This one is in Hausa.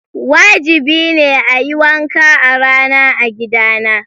Wajibi ne a yi wanka a rana a gidana.